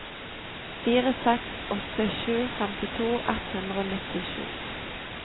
fire seks åtte sju femtito ett hundre og nittisju